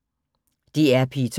DR P2